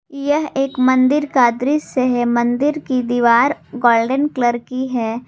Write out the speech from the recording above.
यह एक मंदिर का दृश्य है मंदिर की दीवार गोल्डन कलर की है।